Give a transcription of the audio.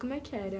Como é que era?